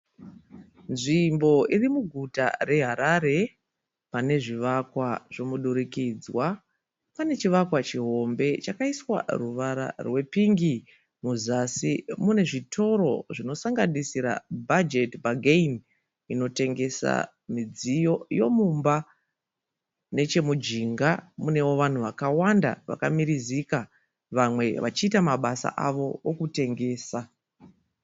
Nzvimbo iri muguta reHarare. Pane zvivakwa zvomudurikidzwa. Pane chivakwa chihombe chakaiswa ruvara rwepingi. Muzasi mune zvitoro zvinosanganisira Budget Bargain inotengesa midziyo yomumba. Nechemujinga munewo vanhu vakawanda vakamirizika vamwe vachiita mabasa avo okutengesa.